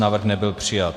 Návrh nebyl přijat.